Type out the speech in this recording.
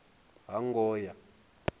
hangoya